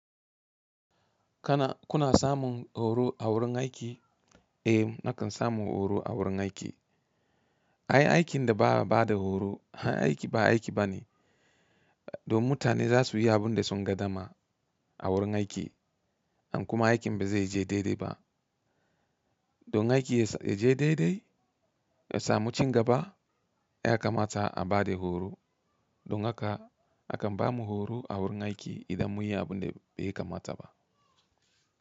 Kana, kuna samun horo a wurin aiki? Eh nakan samu horo a wurin aiki. Ai aikin da ba a ba da horo, aiki ba aiki ba ne. Don mutane za su yi abin da sun ga dama a wurin aiki. An kuma aikin ba zai je daidai ba. Don aiki ya je daidai, ya samu cigaba, ya kamata a ba da horo. Don haka akan ba mu horo a wurin aiki idan mun yi abun da ya kamata ba.